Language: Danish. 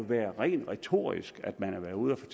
være rent retorisk at man har været ude at